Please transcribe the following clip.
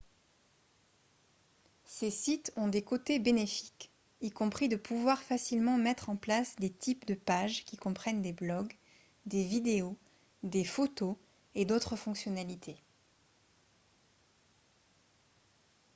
ces sites ont des côtés bénéfiques y compris de pouvoir facilement mettre en place des types de page qui comprennent des blogs des vidéos des photos et d'autres fonctionnalités